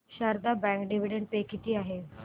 Sharda bank dividend pay किती आहे